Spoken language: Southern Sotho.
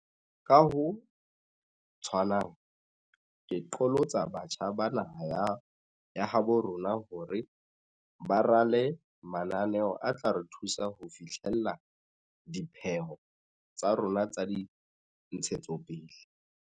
Ka ho tshwanang, ke qholotsa batjha ba naha ya habo rona hore ba rale mananeo a tla re thusa ho fi hlella dipheo tsa rona tsa dintshetsopele.